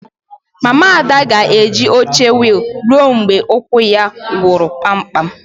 Mama Ada ga-eji oche wiil ruo mgbe ụkwụ ya gwọrọ kpamkpam